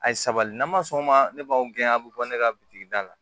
A ye sabali n'an ma sɔn o ma ne b'aw gɛn a bɛ bɔ ne ka bitigi da la